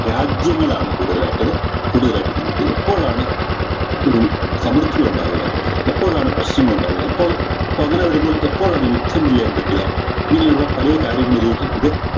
രാജ്യങ്ങളാണ് കൂടുതലായിട്ട് കൂടുതലായിട്ട് എപ്പോഴാണ് ഒരു സമൃദ്ധിയുണ്ടാവുക എപ്പോഴാണ് പ്രശ്നങ്ങളുണ്ടാവുക ഇപ്പോൾ അപ്പൊ അങ്ങനെ വരുമ്പോൾ എപ്പോഴാണ് യുദ്ധം ചെയ്യാൻ പറ്റുക ഇങ്ങനെയുള്ള പലേ കാര്യങ്ങളിലേക്കും ഇത്